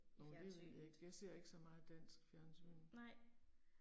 Åh det ved jeg ikke, jeg ser ikke så meget dans i fjernsynet